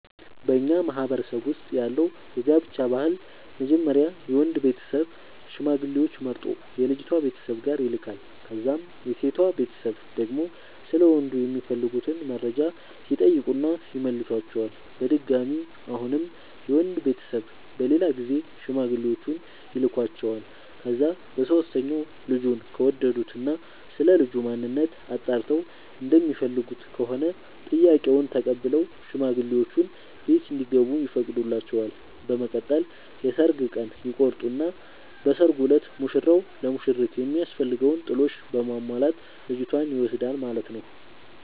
በኛ ማህበረሰብ ውስጥ ያለው የጋብቻ ባህል መጀመሪያ የወንዱ ቤተሰብ ሽማግሌዎች መርጦ የልጅቷ ቤተሰብ ጋር ይልካል። ከዛም የሴቷ ቤተሰብ ደግሞ ስለ ወንዱ የሚፈልጉትን መረጃ ይጠይቁና ይመልሷቸዋል። በድጋሚ አሁንም የወንድ ቤተሰብ በሌላ ጊዜ ሽማግሌዎቹን ይልኳቸዋል። ከዛ በሶስተኛው ልጁን ከወደዱት እና ስለልጁ ማንነት አጣርተው እንደሚፈልጉት ከሆነ ጥያቄውን ተቀብለው ሽማግሌዎቹ ቤት እንዲገቡ ይፈቅዱላቸዋል። በመቀጠል የሰርግ ቀን ይቆርጡና በሰርጉ እለት ሙሽራው ለሙሽሪት የሚያስፈልገውን ጥሎሽ በማሟላት ልጅቷን ይወስዳል ማለት ነው።